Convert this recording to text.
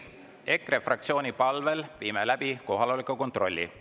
EKRE fraktsiooni palvel teeme kohaloleku kontrolli.